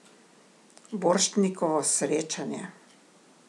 Borštnikovo srečanje.